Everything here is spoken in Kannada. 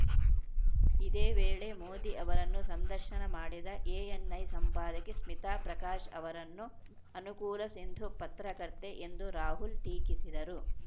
ಇದೇ ವೇಳೆ ಮೋದಿ ಅವರನ್ನು ಸಂದರ್ಶನ ಮಾಡಿದ ಎಎನ್‌ಐ ಸಂಪಾದಕಿ ಸ್ಮಿತಾ ಪ್ರಕಾಶ್‌ ಅವರನ್ನು ಅನುಕೂಲಸಿಂಧು ಪತ್ರಕರ್ತೆ ಎಂದು ರಾಹುಲ್‌ ಟೀಕಿಸಿದರು